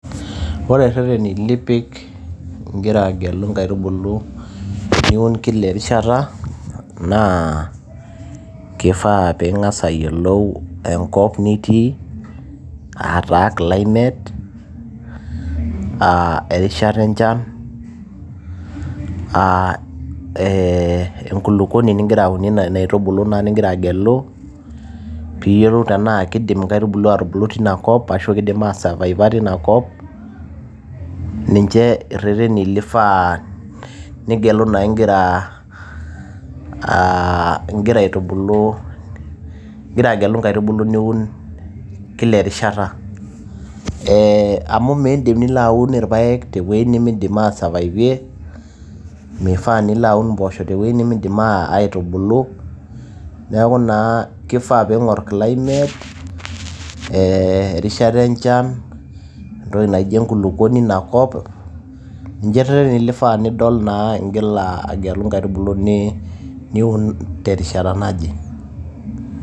Ore ireteni nipik ingira agelu inkaitubulu niun tekila erishata, keifaa pee ingas ayiolou enkop nitii, aa taa climate, erishata enchan aa eenkulukweni nigira aunie inkaituulu nigira agelu pii yiolou tena keidim inkaitubulu aatubulu teina kop ashu keidim aisurviver teina kop, ninche ireteni nifaa nigelu naa ing'ira agelu inkaitubulu niun kila erishata. Amu midim ashomo aun ilpaek teweji nemeidim aisurvaivie, meifaa nilo aun impoosho teweji nemeidim aatubulu. Neaku naa keifaa pee ing'ur climate , erishata enchan, enkulukwoni einakop ninche naa eifaa peyie idol igira agelu inkaitubulu niun terishata naje.